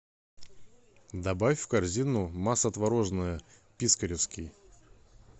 добавь в корзину масса творожная пискаревский